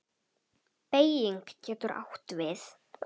Beyging getur átt við